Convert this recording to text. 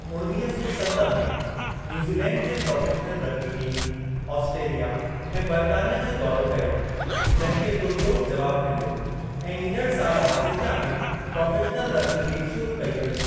उणवीह सौ सत में, न्यूज़ीलैंड जे प्रोफ़ेशनल रगबी टीम आस्ट्रेलिया ऐं बरतानिया जो दौरो कयो, जंहिं खे पुरजोश जवाबु मिल्यो, ऐं ईंदड़ सालु आस्ट्रेलिया में प्रोफ़ेशनल रगबी लीग शुरू कई वेई।